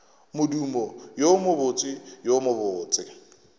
modumo wo mobotse wo mobose